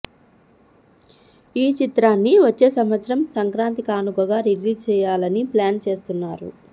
ఈ చిత్రాన్ని వచ్చే సంవత్సరం సంక్రాంతి కానుకగా రిలీజ్ చేయాలని ప్లాన్ చేస్తున్నారు